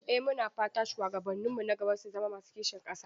Mu na fata shuwagabanninmu na gaba su zama masu kishin ƙasa.